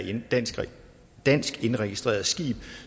et dansk dansk indregistreret skib